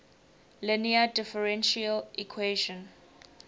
linear differential equation